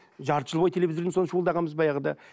жарты жыл бойы телевизорден соны шуылдағанбыз баяғыда